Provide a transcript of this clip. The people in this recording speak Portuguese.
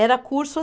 Era curso